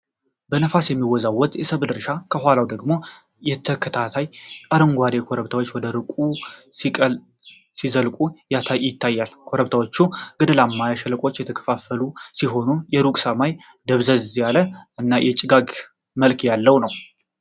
በነፋስ የሚወዛወዝ የሰብል እርሻ ። ከኋላው ደግሞ ተከታታይ አረንጓዴ ኮረብታዎች ወደ ርቀቱ ሲዘልቁ ይታያሉ። ኮረብታዎቹ ገደላማና በሸለቆዎች የተከፋፈሉ ሲሆን፣ የሩቅ ሰማይ ደብዘዝ ያለ እና የጭጋግ መልክ ያለው ነው።